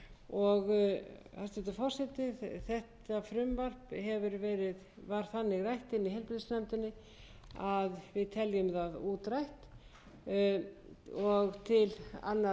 forseti þetta frumvarp var þannig rætt inni í heilbrigðisnefnd að við teljum það útrætt þannig að